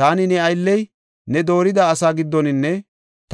Taani, ne aylley ne doorida asaa giddoninne